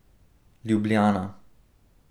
Ljubljana.